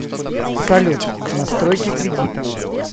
салют настройки кредита